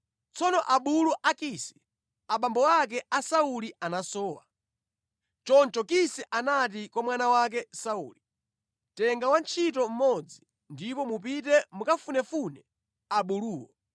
Tsono abulu a Kisi, abambo ake a Sauli anasowa. Choncho Kisi anati kwa mwana wake Sauli, “Tenga wantchito mmodzi ndipo mupite mukafunefune abuluwo.”